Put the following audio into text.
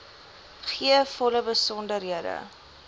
gee volle besonderhede